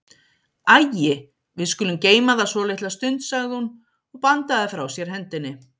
Æi, við skulum geyma það svolitla stund, sagði hún og bandaði frá sér hendinni.